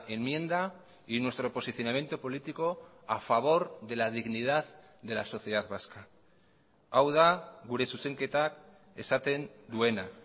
enmienda y nuestro posicionamiento político a favor de la dignidad de la sociedad vasca hau da gure zuzenketak esaten duena